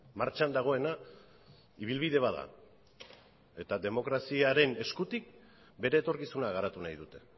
martxan dagoena ibilbide bat da eta demokraziaren eskutik bere etorkizuna garatu nahi dute